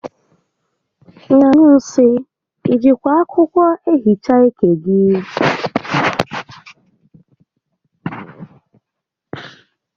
Ị na-anyụ nsị? I jikwa akwụkwọ ehicha ike gị?